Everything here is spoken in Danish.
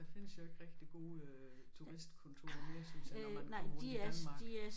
Der findes jo ikke rigtigt gode øh turistkontorer mere synes jeg når man kommer rundt i Danmark